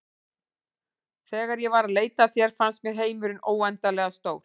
Þegar ég var að leita að þér fannst mér heimurinn óendanlega stór.